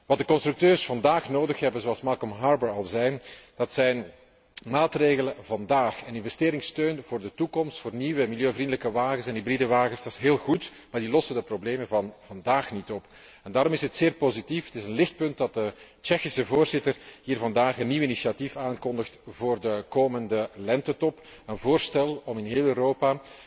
Wat de constructeurs vandaag nodig hebben zoals Malcolm Harbour al zei zijn maatregelen vandaag en investeringssteun voor de toekomst voor nieuwe milieuvriendelijke en hybride auto's. Dat is heel goed, maar dat lost de problemen van vandaag niet op. Daarom is het zeer positief en een lichtpunt dat de Tsjechische voorzitter hier vandaag een nieuw initiatief aankondigt voor de komende Lentetop, een voorstel om in heel Europa